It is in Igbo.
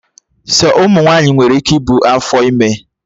Sọ ụmụ nwaanyị nwere ike ibu afọ ime